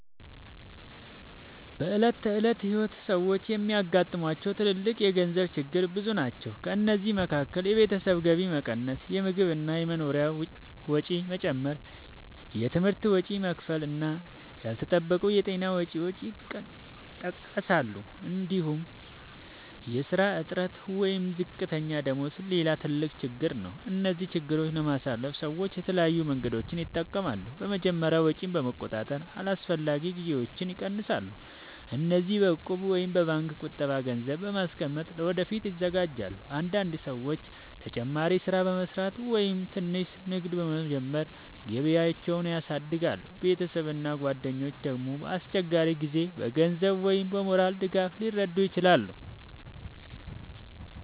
በዕለት ተዕለት ሕይወት ሰዎች የሚያጋጥሟቸው ትልልቅ የገንዘብ ችግሮች ብዙ ናቸው። ከእነዚህ መካከል የቤተሰብ ገቢ መቀነስ፣ የምግብ እና የመኖሪያ ወጪ መጨመር፣ የትምህርት ወጪ መክፈል እና ያልተጠበቁ የጤና ወጪዎች ይጠቀሳሉ። እንዲሁም የሥራ እጥረት ወይም ዝቅተኛ ደመወዝ ሌላ ትልቅ ችግር ነው። እነዚህን ችግሮች ለማሸነፍ ሰዎች የተለያዩ መንገዶችን ይጠቀማሉ። በመጀመሪያ ወጪን በመቆጣጠር አላስፈላጊ ግዢዎችን ይቀንሳሉ። እንዲሁም በእቁብ ወይም በባንክ ቁጠባ ገንዘብ በማስቀመጥ ለወደፊት ይዘጋጃሉ። አንዳንድ ሰዎች ተጨማሪ ሥራ በመስራት ወይም ትንሽ ንግድ በመጀመር ገቢያቸውን ያሳድጋሉ። ቤተሰብ እና ጓደኞች ደግሞ በአስቸጋሪ ጊዜ በገንዘብ ወይም በሞራል ድጋፍ ሊረዱ ይችላሉ።